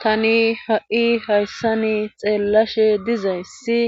Tani ha'i hayssa ni xeellashe dizayssi